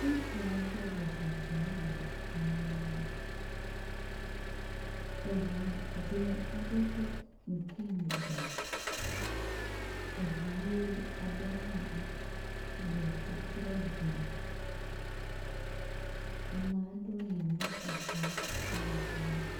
Ŋutsu aɖe le zɔɔm le emɔ me. eŋu dze aɖe ƒe ŋkume gba. Eŋu ʋi aɖe hã le tɔtrɔ gbo. Ame aɖewo nɔ moto dzim va le yiyim.